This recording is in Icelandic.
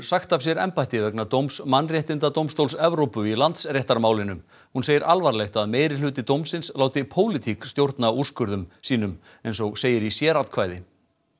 sagt af sér embætti vegna dóms Mannréttindadómstóls Evrópu í Landsréttarmálinu hún segir alvarlegt að meirihluti dómsins láti pólitík stjórna úrskurðum sínum eins og segir í sératkvæði